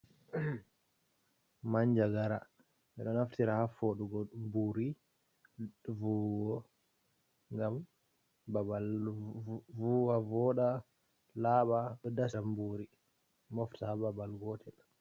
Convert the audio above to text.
Manjagara ɓeɗo naftira ha foɗugo ɓuri vuwo ngam babal vuwa, voɗa, laɓa, dastam buri mofta ha babal gotel.